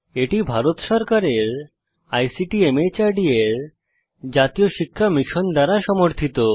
এটি ভারত সরকারের ICT MHRD এর জাতীয় সাক্ষরতা মিশন দ্বারা সমর্থিত